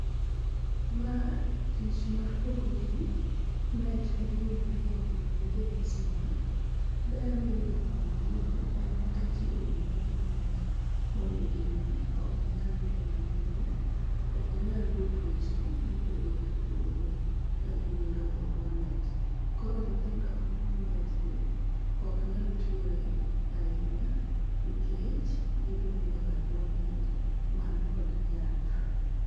ma tich mar pogo ji net ma gi umore go mondo gigeng suna ,ber miyudo kuom gini en ni ka ji oumore gi net ok ginyal yudo malaria ok ginyal yudo tuoche mopogore opogore ka ginindo e buo net, koro nyithindo mo mi net gi ok nyal tuore ahinya nikech gidhi nindo e buo net man kod yath